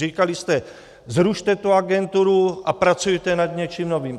Říkali jste: zrušte tu agenturu a pracujte nad něčím novým.